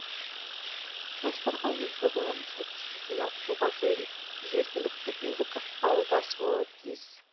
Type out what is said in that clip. жастарға өз жобаларын сәтті жүзеге асыруға жергілікті билік ықпалдасуы тиіс